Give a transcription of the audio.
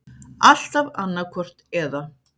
Alltaf annaðhvort eða.